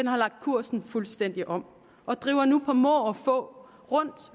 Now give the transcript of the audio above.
har lagt kursen fuldstændig om og driver nu på må og få rundt